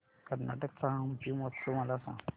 कर्नाटक चा हम्पी महोत्सव मला सांग